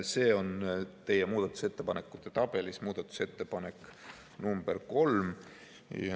See on teie muudatusettepanekute tabelis muudatusettepanek nr 3.